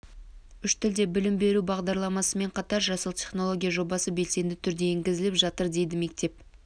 үш тілде білім беру бағдарламасымен қатар жасыл технология жобасы белсенді түрде енгізіліп жатыр дейді мектеп